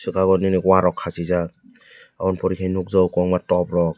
abo nini warok kasijako aboni pore ke nog jago kobongma tok rok.